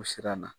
O siran na